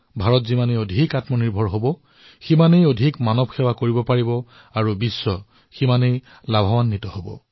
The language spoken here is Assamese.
ভাৰত যিমানেই সক্ষম হৈ উঠিব সিমানেই অধিক মানৱতাৰ সেৱা কৰিব আৰু সিমানেই লাভ বিশ্বৰো হব